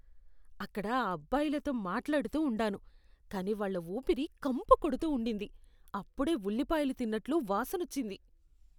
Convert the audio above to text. అక్కడ ఆ అబ్బాయిలతో మాట్లాడుతూ ఉండాను, కానీ వాళ్ళ ఊపిరి కంపు కొడుతూ ఉండింది. అప్పుడే ఉల్లిపాయలు తిన్నట్లు వాసనొచ్చింది.